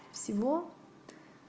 всего